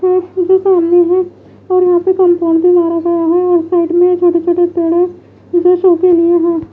है जो सामने है और यहां ले कंपाउंड भी मारा गया है और साइड में छोटे छोटे पेड़े जो शो के लिए हैं।